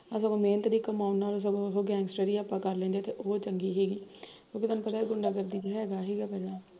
ਆਹ ਮਿਹਨਤ ਦੀ ਕਮਾਈ ਨਾਲੋ ਸਗੋਂ ਆਪਾਂ ਗੈਂਗਸਟ੍ਰੀ ਆਪਾਂ ਕਰ ਲੈਂਦੇ ਉਹ ਚੰਗੀ ਸੀਗੀ ਹਮ ਕਿਉਕਿ ਤੈਨੂੰ ਪਤਾ ਏਹ ਗੁੰਡਾਗਰਦੀ ਚ ਹੈਗਾ ਸੀਗਾ ਪਹਿਲਾਂ